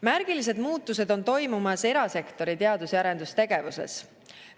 Märgilised muutused on toimumas erasektori teadus‑ ja arendustegevuses.